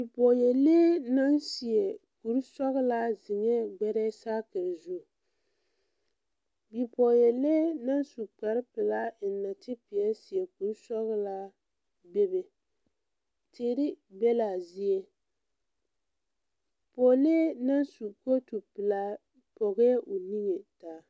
Bipɔɔlee naŋ seɛ kursɔɔlaa zeŋɛɛ ɡbɛrɛɛ saakere zu bipɔɔyɛlee na su kparpelaa a eŋ nɔɔtepeɛle a seɛ kursɔɔlaa bebe teere be la a zie pɔɔlee na su kootu pelaa pɔɡɛɛ o niŋe taa.